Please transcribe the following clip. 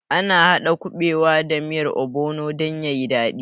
Ana haɗa kuɓewa da miyar obono dan yayi daɗi